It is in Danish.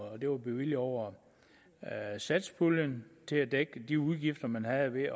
og det var bevilget over satspuljen til at dække de udgifter man havde ved at